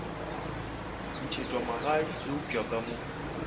ntšhetšwa magadi eupša ka mo